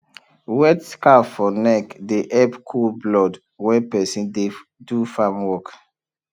wet scarf for neck dey help cool blood when person dey do farm work